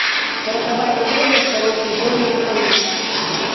сороковая серия второй сезон менталист